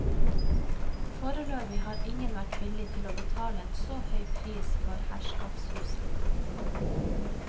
Foreløpig har ingen vært villig for å betale en så høy pris for herskapshuset.